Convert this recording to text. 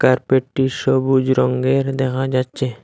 কার্পেটটি সবুজ রঙ্গের দেখা যাচ্ছে।